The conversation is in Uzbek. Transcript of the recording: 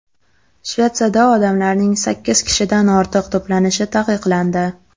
Shvetsiyada odamlarning sakkiz kishidan ortiq to‘planishi taqiqlandi.